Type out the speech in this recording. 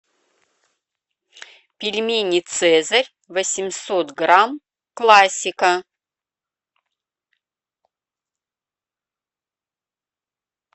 пельмени цезарь восемьсот грамм классика